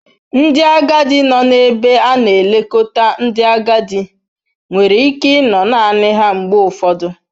Ndị agadi nọ n'ebe a na-elekọta ndị agadi nwere ike ịnọ naanị ha mgbe ụfọdụ.